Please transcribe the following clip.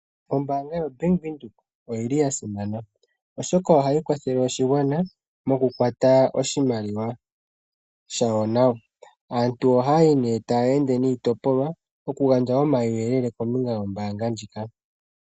Ombaanga yo Bank Windhoek oyili ya simana oshoka ohayi kwathele oshigwana moku kwata oshimaliwa shasho nawa. Aantu oha yayi nee taya ende niitopolwa taya gandja omauyelele kombinga yombaanga ndjika.